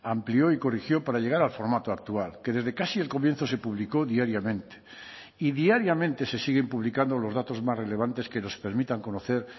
amplió y corrigió para llegar al formato actual que desde casi el comienzo se publicó diariamente y diariamente se siguen publicando los datos más relevantes que nos permitan conocer